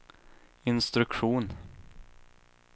instruktion